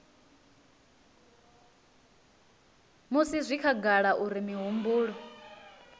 musi zwi khagala uri mihumbulo